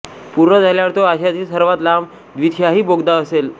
पूर्ण झाल्यावर तो आशियातील सर्वात लांब द्विदिशाही बोगदा असेल